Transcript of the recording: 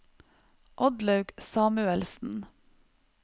Oddlaug Samuelsen